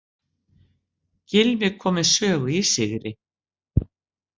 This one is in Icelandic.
Gylfi kom við sögu í sigri